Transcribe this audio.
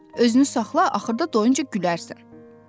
Özünü saxla, axırda doyunca gülərsən!